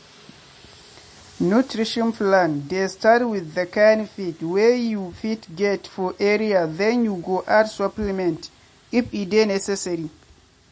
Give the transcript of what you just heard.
nutrition plan dey start with the kind feed wey you fit get for area then you go add supplement if e dey necessary.